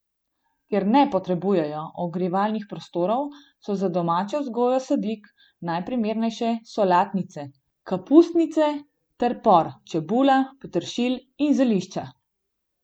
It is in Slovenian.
Ker ne potrebujejo ogrevanih prostorov, so za domačo vzgojo sadik najprimernejše solatnice, kapusnice ter por, čebula, peteršilj in zelišča.